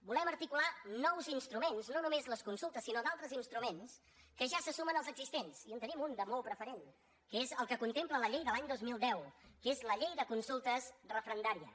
volem articular nous instruments no només les consultes sinó altres instruments que ja se sumen als existents i en tenim un de molt preferent que és el que contempla la llei de l’any dos mil deu que és la llei de consultes referendàries